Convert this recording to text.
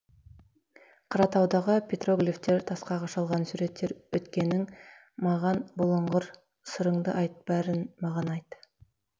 қаратаудағы петроглифтер тасқа қашалған суреттер өткенің маған бұлыңғыр сырыңды айт бәрін маған айт